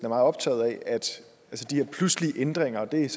optaget af de her pludselige ændringer og det er